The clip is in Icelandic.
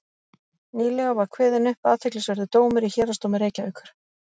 nýlega var kveðinn upp athyglisverður dómur í héraðsdómi reykjavíkur